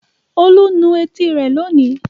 Olú nu etí rẹ̀ lónìí.